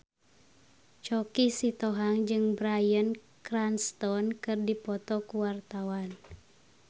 Choky Sitohang jeung Bryan Cranston keur dipoto ku wartawan